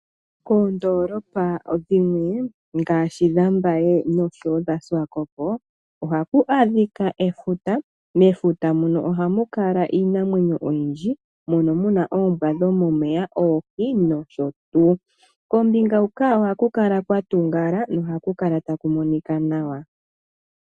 Koondolapa dhimwe ngaashi dhambaye nenge dhaSwakopo ohaku kala adhika efuta. Mefuta muno ohamu kala iinamwenyo oyindji mono muuna oombwa dhomomeya, oohi nosho tuu. Kombinga huka ohaku kala kwatungala noha kukala taku monika nawa.